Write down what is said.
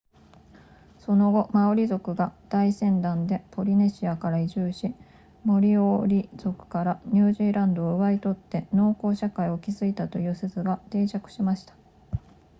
その後マオリ族が大船団でポリネシアから移住しモリオーリ族からニュージーランドを奪い取って農耕社会を築いたという説が定着しました